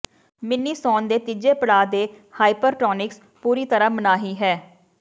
mini ਸੌਣ ਦੇ ਤੀਜੇ ਪੜਾਅ ਦੇ ਹਾਈਪਰਟੋਨਿਕਸ ਪੂਰੀ ਤਰ੍ਹਾਂ ਮਨਾਹੀ ਹੈ